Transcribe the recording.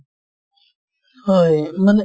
হয় হয়